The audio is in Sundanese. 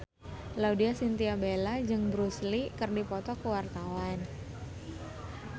Laudya Chintya Bella jeung Bruce Lee keur dipoto ku wartawan